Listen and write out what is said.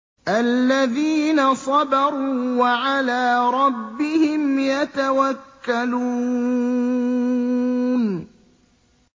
الَّذِينَ صَبَرُوا وَعَلَىٰ رَبِّهِمْ يَتَوَكَّلُونَ